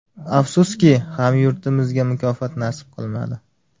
Afsuski, hamyurtimizga mukofot nasib qilmadi.